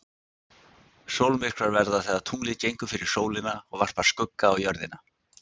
Sólmyrkvar verða þegar tunglið gengur fyrir sólina og varpar skugga á Jörðina.